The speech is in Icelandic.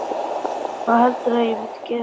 Hvað heldurðu að ég myndi gera?